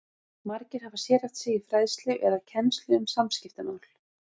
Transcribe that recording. Margir hafa sérhæft sig í fræðslu eða kennslu um samskiptamál.